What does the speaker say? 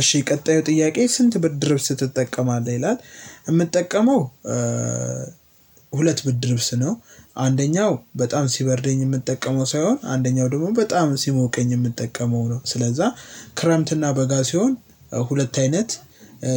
እሺ ቀጣዩ ጥያቄ ስንት ብድር ወስደህ ትጠቀማለት ይላል? የምትጠቀመው። ሁለት ብርድ ልብስ ነው አንደኛው በጣም ሲበርደኝ ነው የሚጠቀመው ሲሆን አንደኛው ደግሞ በጣም ስሞቀኝ ነው የሚጠቀመው ነው ስለዛ ክራምንት እና በጋ ሲሆን ሁለት አይነት